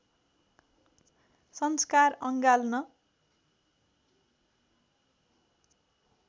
संस्कार अँगाल्न